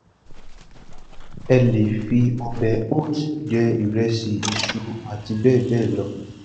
ẹ lè fi ọbẹ cs] hout jẹ ìrẹsì iṣu àti bẹẹbẹẹ lọ